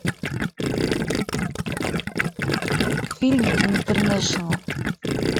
фильм интернешнл